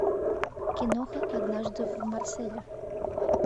киноха однажды в марселе